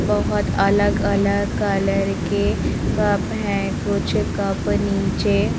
बहुत अलग-अलग कलर के कप हैं कुछ कप नीचे--